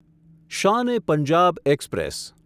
Shan e Punjab express